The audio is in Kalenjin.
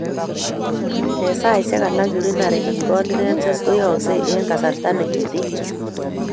En saisiek alak urinary incontinence koyoyoksei en kasarta nekiten